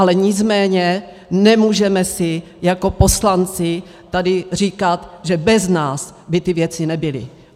Ale nicméně nemůžeme si jako poslanci tady říkat, že bez nás by ty věci nebyly.